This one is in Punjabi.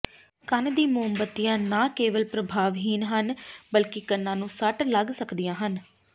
ਕੰਨ ਦੀ ਮੋਮਬੱਤੀਆਂ ਨਾ ਕੇਵਲ ਪ੍ਰਭਾਵਹੀਣ ਹਨ ਬਲਕਿ ਕੰਨਾਂ ਨੂੰ ਸੱਟ ਲੱਗ ਸਕਦੀਆਂ ਹਨ